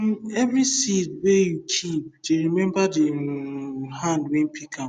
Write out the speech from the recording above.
um every seed wey you keep dey remember the um hand wey pick am